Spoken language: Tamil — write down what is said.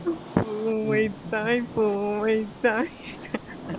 பூ வைத்தாய் பூ வைத்தாய்